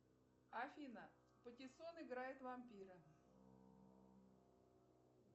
афина патиссон играет вампира